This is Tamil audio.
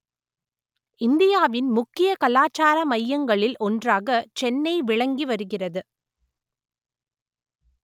இந்தியாவின் முக்கிய கலாச்சார மையங்களில் ஒன்றாக சென்னை விளங்கி வருகிறது